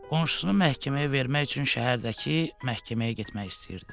Qonşusunu məhkəməyə vermək üçün şəhərdəki məhkəməyə getmək istəyirdi.